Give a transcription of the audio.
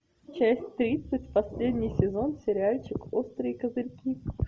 часть тридцать последний сезон сериальчик острые козырьки